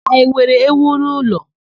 I nwere ewu n'ụlọ?